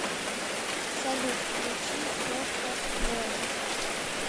салют включи сорта воин